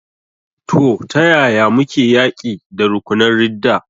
To, ta yaya muke yaƙi da rukunan ridda?